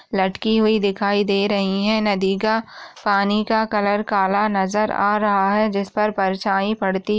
लटकी हुई दिखाई दे रही है नदी का पानी का कलर काला नजर आ रहा है जिस पर परछाई पड़ती--